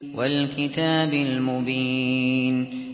وَالْكِتَابِ الْمُبِينِ